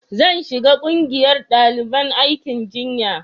zan shiga ƙungiyar daliban aikin jinya